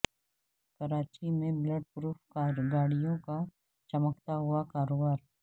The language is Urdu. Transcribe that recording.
کراچی میں بلٹ پروف گاڑیوں کا چمکتا ہوا کاروبار